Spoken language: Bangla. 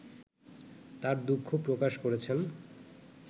তার দুঃখ প্রকাশ করেছেন